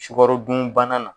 Sugaro dun bana na